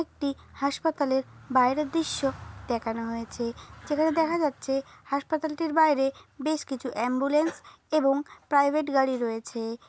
একটি হাসপাতাল এর বাইরের দৃশ্য দেখানো হয়েছে যেখানে দেখা যাচ্ছে হাসপাতালটির বাইরে বেশ কিছু অ্যাম্বুলেন্স এবং প্রাইভেট গাড়ি রয়েছে-এ।